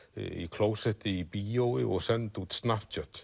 klósetti í bíói og send út